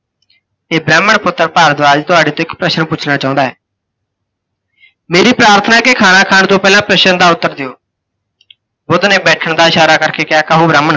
ਇਹ ਬ੍ਰਹਮਣ ਪੁੱਤ ਭਾਰਦਵਾਜ ਤੁਹਾਡੇ ਤੋਂ ਇੱਕ ਪ੍ਸ਼ਨ ਪੁੱਛਣਾ ਚਾਹੁੰਦਾ ਹੈ। ਮੇਰੀ ਪ੍ਰਾਥਨਾ ਹੈ ਕੇ ਖਾਣਾ ਖਾਣ ਤੋਂ ਪਹਿਲਾਂ ਪ੍ਸ਼ਨ ਦਾ ਉੱਤਰ ਦਿਓ। ਬੁੱਧ ਨੇ ਬੈਠਣ ਦਾ ਇਸ਼ਾਰਾ ਕਰਕੇ ਕਿਹਾ ਕਹੋ ਬ੍ਰਹਮਣ।